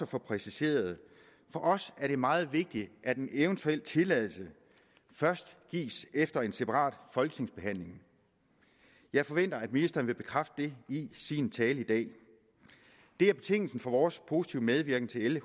få præciseret for os er det meget vigtigt at en eventuel tilladelse først gives efter en separat folketingsbehandling jeg forventer at ministeren vil bekræfte det i sin tale i dag det er betingelsen for vores positive medvirken til l